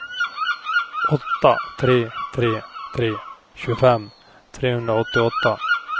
åtta tre tre tre tjugofem trehundraåttioåtta